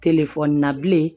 Telefɔni na bilen